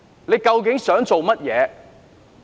他究竟想做甚麼？